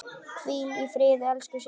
Hvíl í friði, elsku systir.